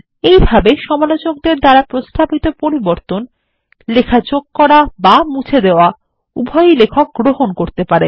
এই ভাবে সমালোচকদের দ্বারা প্রস্তাবিত পরিবর্তন লেখা যোগ করা এবং মুছে দেওয়া উভয়ই লেখক গ্রহণ করতে পারেন